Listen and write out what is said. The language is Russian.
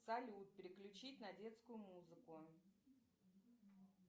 салют переключить на детскую музыку